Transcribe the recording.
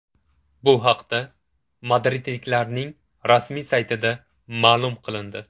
Bu haqda madridliklarning rasmiy saytida ma’lum qilindi .